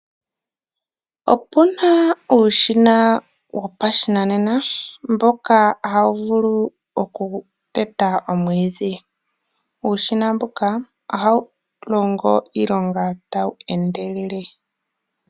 Opu na uushina wopashinanena mboka hawu vulu okuteta omwiidhi. Uushina mboka ohawu longo iilonga tawu endelele.